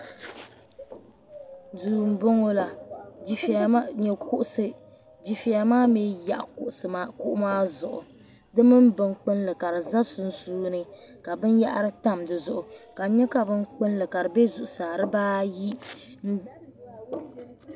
Duu m bɔŋɔ la n nyɛ kuɣusi difɛya maa mii yaɣi kuɣusi maa zuɣu di mini bin kpilli ka di za sunsuuni ka binyɛra tam di zuɣu ka n nyɛ ka binkpulli ka di bɛ zuɣu saa di baa ayi.